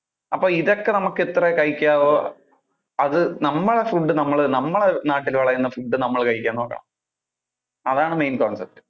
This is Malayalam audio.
അപ്പോ ഇതൊക്കെ നമുക്ക് എത്ര കഴിക്കാവോ. അത് നമ്മുടെ food നമ്മളെ നമ്മുടെ നാട്ടിൽ വിളയുന്ന food നമ്മള് കഴിക്കാൻ നോക്കണം. അതാണ് main concept